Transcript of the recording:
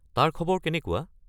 তাৰ খবৰ কেনেকুৱা?